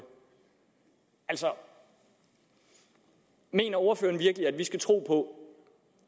altså mener ordføreren virkelig at vi skal tro på